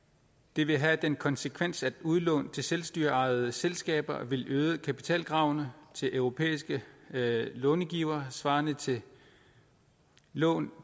det vil have den konsekvens at udlån til selvstyreejede selskaber vil øge kapitalkravene til europæiske långivere svarende til lån